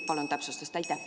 Palun täpsustust!